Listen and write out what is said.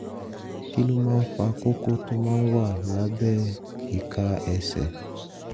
kí ló máa ń fa kókó tó máa ń wà lábẹ́ ìka ẹsẹ̀?